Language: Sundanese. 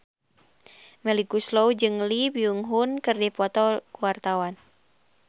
Melly Goeslaw jeung Lee Byung Hun keur dipoto ku wartawan